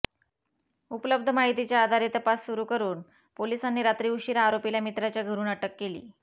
उपलब्ध माहितीच्या आधारे तपास सुरू करून पोलिसांनी रात्री उशिरा आरोपीला मित्राच्या घरून अटक केली